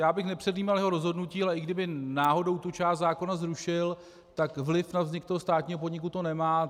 Já bych nepředjímal jeho rozhodnutí, ale i kdyby náhodou tu část zákona zrušil, tak vliv na vznik toho státního podniku to nemá.